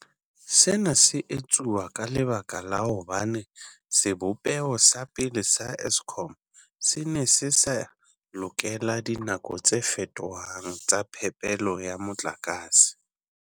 Sena se etsuwa ka lebaka la hobane sebopeho sa pele sa Eskom se ne se sa lokela dinako tse fetohang tsa phepelo ya motlakase.